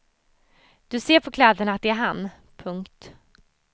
Du ser på kläderna att det är han. punkt